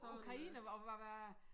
Ukraine og hvor hvad